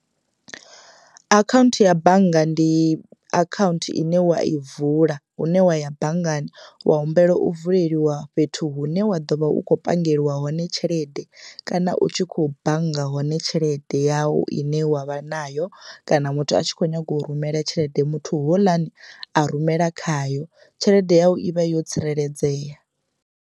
Akhaunthu ya bannga ndi akhaunthu ine wa i vula hune wa ya banngani wa humbela u vuleliwa fhethu hune wa ḓo vha u khou pangeliwa hone tshelede, kana u tshi kho bannga hone tshelede yau ine wa vha nayo kana muthu a tshi kho nyaga u rumela tshelede muthu houḽani a rumela khayo tshelede yau i vha yo tsireledzea.